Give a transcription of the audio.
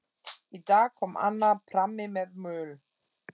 Í dag kom annar prammi með möl.